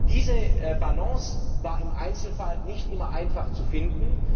Diese Balance war im Einzelfall nicht immer einfach zu finden.